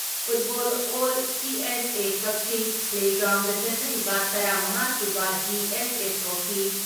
football L CSA Kakching play ground ꯆꯠꯊꯔꯤꯕ ꯇꯔꯥ ꯃꯉꯥ ꯁꯨꯕ ꯗꯤ.ꯑꯦꯁ.ꯑꯦ ꯇ꯭ꯔꯣꯐꯤ